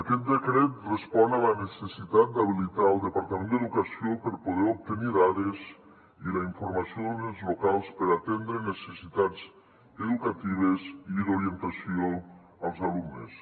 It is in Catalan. aquest decret respon a la necessitat d’habilitar el departament d’educació per poder obtenir dades i la informació dels ens locals per atendre necessitats educatives i d’orientació als alumnes